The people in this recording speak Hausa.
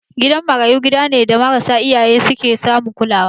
Gidan marayu gida ne da marasa iyaye su ke samun kulawa.